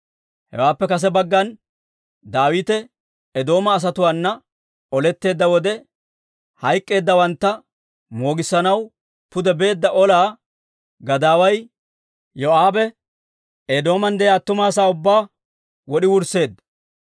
Hawaappe kase baggan Daawite Eedooma asatuwaana oletteedda wode, hayk'k'eeddawantta moogissanaw pude beedda ola gadaaway Yoo'aabe, Eedooman de'iyaa attuma asaa ubbaa wod'i wursseedda.